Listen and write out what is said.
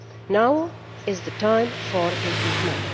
Now is the time for improvement.